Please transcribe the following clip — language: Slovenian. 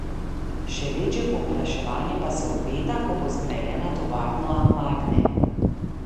Še večje povpraševanje pa se obeta, ko bo zgrajena tovarna Magne.